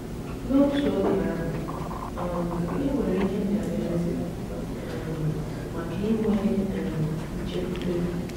N’otu oge ahụ, um e nwere ihe ndabere um maka inwe um nchekwube.